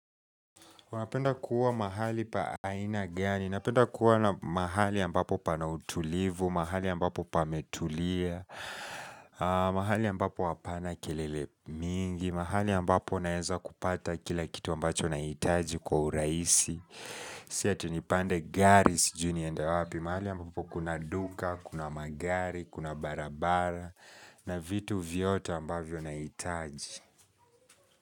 Unapenda kuwa mahali pa aina gani, napenda kuwa na mahali ambapo pana utulivu, mahali ambapo pametulia, mahali ambapo hapana kelele mingi, mahali ambapo naeza kupata kila kitu ambacho nahitaji kwa urahisi. Si ati nipande gari sijui niende wapi, mahali ambapo kuna duka, kuna magari, kuna barabara, na vitu vyote ambavyo nahitaji.